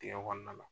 Dingɛ kɔnɔna la